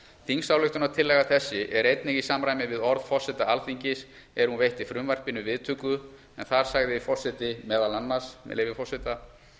þingsályktunartillaga þessi er einnig í samræmi við orð forseta alþingis er hún veitti frumvarpinu viðtöku en þar sagði forseti meðal annars með leyfi forseta